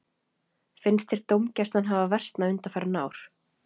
Finnst þér dómgæslan hafa versnað undanfarin ár?